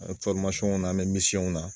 An be Fɔrimasɔnw na an be misiyɔnw na